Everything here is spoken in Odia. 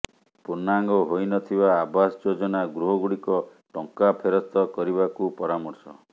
ପୂର୍ଣ୍ଣାଙ୍ଗ ହୋଇନଥିବା ଆବାସ ଯୋଜନା ଗୃହଗୁଡି଼କ ଟଙ୍କା ଫେରସ୍ତ କରିବାକୁ ପରାମର୍ଶ